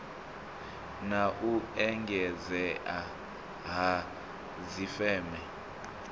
na u engedzea ha dzifeme